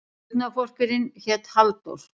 Dugnaðarforkurinn hét Halldór.